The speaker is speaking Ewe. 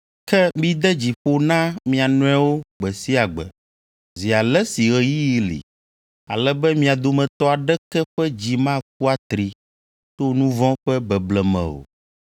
Ke mide dzi ƒo na mia nɔewo gbe sia gbe, zi ale si ɣeyiɣi li, ale be mia dometɔ aɖeke ƒe dzi maku atri to nu vɔ̃ ƒe beble me o.